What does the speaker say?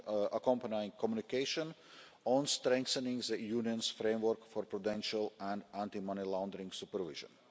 an accompanying communication, on strengthening the Union's framework for prudential and anti money laundering supervision.